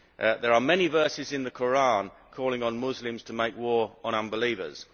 There are many verses in the Koran calling on Muslims to make war on unbelievers.